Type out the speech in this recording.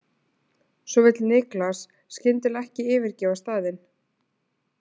Svo vill Niklas skyndilega ekki yfirgefa staðinn.